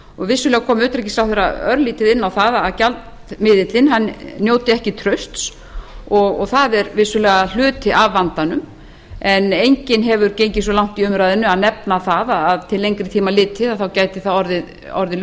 vissulega kom hæstvirts utanríkisráðherra örlítið inn á það að gjaldmiðillinn njóti ekki trausts og það er vissulega hluti af vandanum en enginn hefur gengið svo langt í umræðunni að nefna það að til lengri tíma litið gæti það orðið